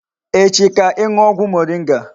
Echi ka I nuo ogwu moringa